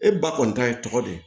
E ba kɔni ta ye tɔgɔ de ye